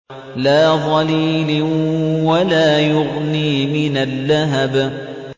لَّا ظَلِيلٍ وَلَا يُغْنِي مِنَ اللَّهَبِ